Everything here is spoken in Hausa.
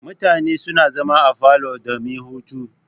Mutane suna zama a falo domin hutu.